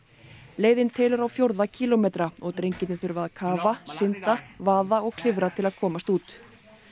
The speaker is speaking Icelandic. leiðin telur á fjórða kílómetra og drengirnir þurfa að kafa synda vaða og klifra til að komast út